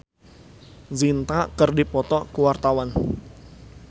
Uli Auliani jeung Preity Zinta keur dipoto ku wartawan